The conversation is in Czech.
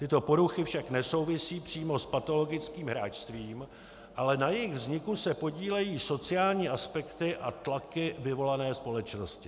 Tyto poruchy však nesouvisí přímo s patologickým hráčstvím, ale na jejich vzniku se podílejí sociální aspekty a tlaky vyvolané společností.